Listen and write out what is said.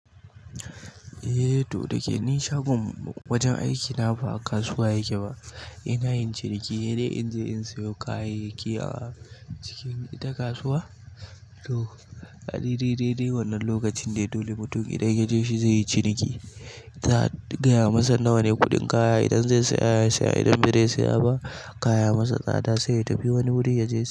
Eh to dake ni shagon mu wajen aiki na ba a kasuwa yake ba. Ina yin ciniki he dai inje in sayo kayayyaki a cikin ita kasuwa. To a dai dai dai wannan lokacin dai dole mutum idan ya je shi zai yi ciniki. Za'a gaya masa nawane kuɗin kaya idan zai saya ya siya idan bazai saya ba kaya ya masa tsada sai ya tafi wani wuri ya je.